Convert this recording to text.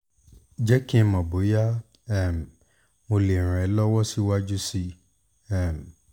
jẹ́ kí n mọ̀ bóyá um mo lè ràn ẹ́ lọ́wọ́ síwájú sí um